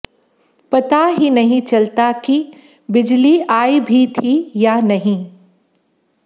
पता ही नहीं चलता कि बिजली आई भी थी या नहीं